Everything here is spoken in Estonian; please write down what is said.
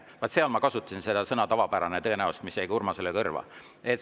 Vaat seal ma tõenäoliselt kasutasin sõna "tavapärane", mis jäi ka Urmasele kõrva.